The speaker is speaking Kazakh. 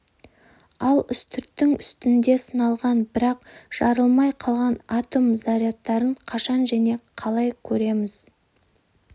ал үстірттің үстінде сыналған бірақ жарылмай қалған атом зарядтарын қашан және қалай көреміз